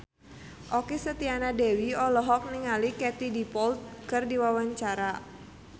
Okky Setiana Dewi olohok ningali Katie Dippold keur diwawancara